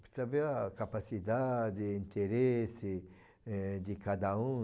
Precisa ver a capacidade, interesse, eh, de cada um.